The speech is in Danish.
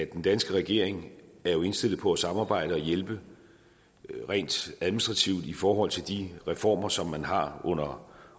den danske regering jo er indstillet på at samarbejde og hjælpe rent administrativt i forhold til de reformer som man har under